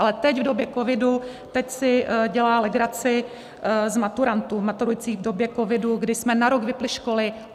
Ale teď, v době covidu, teď si dělá legraci z maturantů maturujících v době covidu, kdy jsme na rok vypnuli školy.